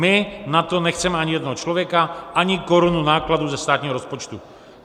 My na to nechceme ani jednoho člověka, ani korunu nákladů ze státního rozpočtu.